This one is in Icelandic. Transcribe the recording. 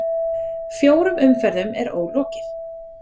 Fjórum umferðum er ólokið